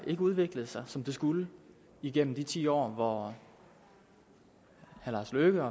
ikke udviklede sig som det skulle igennem de ti år hvor herre lars løkke